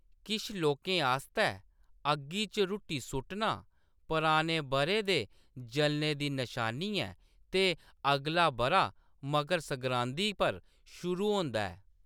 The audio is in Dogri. किश लोकें आस्तै, अग्गी च रुट्टी सुट्टना पुराने बʼरे दे जलने दी नशानी ऐ ते अगला बʼरा मकर संगरांदी पर शुरू होंदा ऐ।